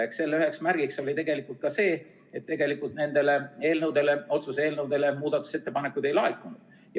Eks selle üheks märgiks oli tegelikult ka see, et nende otsuse eelnõude kohta muudatusettepanekuid ei laekunud.